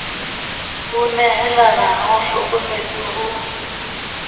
ho nehalana a hlokometse ho